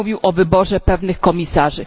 Pan mówił o wyborze pewnych komisarzy.